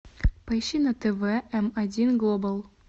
поищи на тв м один глобал